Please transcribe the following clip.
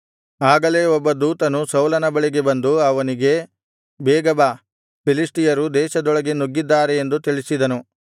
ಆಗಲೇ ಒಬ್ಬ ದೂತನು ಸೌಲನ ಬಳಿಗೆ ಬಂದು ಅವನಿಗೆ ಬೇಗ ಬಾ ಫಿಲಿಷ್ಟಿಯರು ದೇಶದೊಳಗೆ ನುಗ್ಗಿದ್ದಾರೆ ಎಂದು ತಿಳಿಸಿದನು